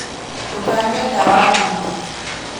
Ndũkanyue ndawa nyingĩ